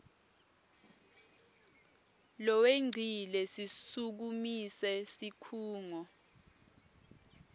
lowengcile sisukumise sikhungo